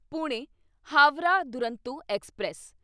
Pune Howrah Duronto express